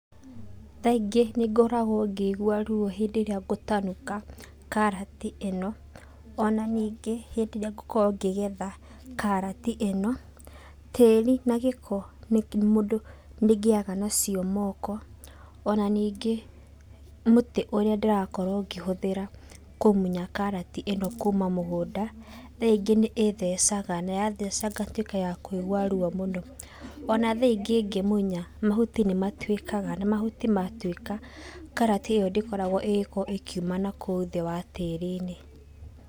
Kaingĩ nĩ ngoragwo ngĩigua ruo hĩndĩ ĩrĩa ngũtanuka karati ino, ona ningĩ, hĩndĩ ĩrĩa ngukorwo ngĩgetha karati ĩno. Tĩri na gĩko mũndũ nĩ ngĩaga nacio moko, ona ningĩ, mũtĩ ũrĩa ndĩrakorwo ngĩhũthĩra kũmunya karati ĩno kuma mũgũnda, rĩngĩ nĩ ĩthecaga, na yatheca ngatuika ya kũigua ruo mũno. Ona thaa ingĩ ngĩmunya, mahuti nĩ matuikaga, na mahuti matuika, karati ĩyo ndĩkoragwo ĩgĩko ĩkiuma nakũu thĩ wa tĩri-inĩ.